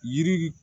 Yiri